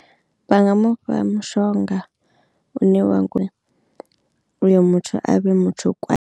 Vhanga mu fha mushonga une wanga uyo muthu a vhe muthu kwa.